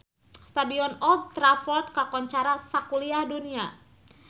Stadion Old Trafford kakoncara sakuliah dunya